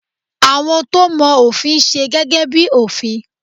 Àwọn to mọ òfin n se gẹ́gẹ́ bi òfin